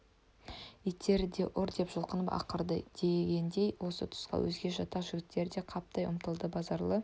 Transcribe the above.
иттерді ұр деп жұлқынып ақырды дегеніндей осы түсқа өзге жатақ жігіттері де қаптай ұмтылды базаралы